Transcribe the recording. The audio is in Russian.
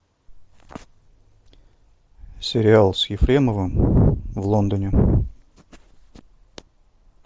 сериал с ефремовым в лондоне